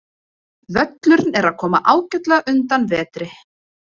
Völlurinn er að koma ágætlega undan vetri.